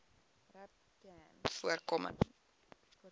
rapcanvoorkoming